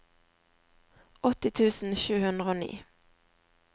åtti tusen sju hundre og ni